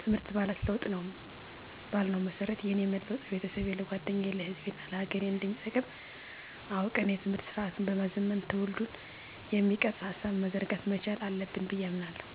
ትምህርት ማለት ለውጥ ነው ባልነው መሠረት የእኔ መለወጥ ለቤተሠቤ፣ ለጓደኛየ፣ ለሕዝቤናለሀገሬ አንደሚጠቅም አውቀን የትምህርት ስርአቱን በማዘመን ትውልድን የሚቀርፅ ሀሳብ መዘርጋት መቻል አለብን ብየ አምናለሁ።